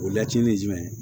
O lacitinin ye jumɛn